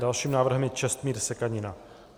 Dalším návrhem je Čestmír Sekanina.